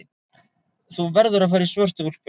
Þú verður að fara í svörtu úlpuna.